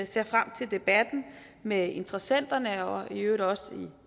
ser frem til debatten med interessenterne og i øvrigt også